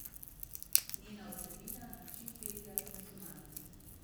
Njena vsebina, način petja in zunanjost.